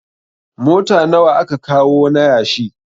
Mota nawa aka kawo na yashi?